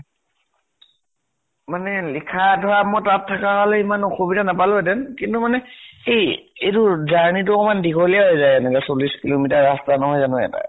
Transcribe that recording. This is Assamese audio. মানে লিখা ধৰা মই তাত থকা হʼলে , ইমান অসুবিধা নাপালো হেতেন । কিন্তু সেই journey তো অকনমান দিঘলীয়া হৈ যায় এনেকে । চল্লিশ kilometer ৰাষ্টা নহয় জানো এটা ।